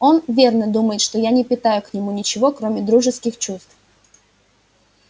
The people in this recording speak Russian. он верно думает что я не питаю к нему ничего кроме дружеских чувств